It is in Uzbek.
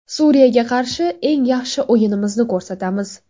Suriyaga qarshi eng yaxshi o‘yinimizni ko‘rsatamiz.